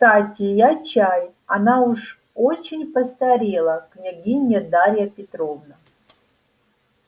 кстати я чай она уж очень постарела княгиня дарья петровна